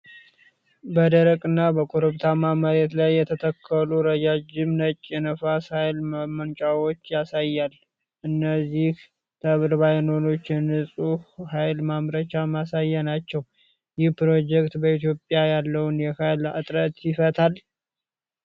በደረቅ እና በኮረብታማ መሬት ላይ የተተከሉ ረዣዥም ነጭ የነፋስ ኃይል ማመንጫዎችን ያሳያል። እነዚህ ተርባይኖች የንፁህ ኃይል ማምረቻ ማሳያ ናቸው። ይህ ፕሮጀክት በኢትዮጵያ ያለውን የኃይል እጥረት ይፈታል?